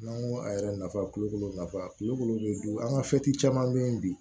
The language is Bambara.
N'an ko a yɛrɛ nafa kulukoro nafa kuluko an ka caman bɛ yen bi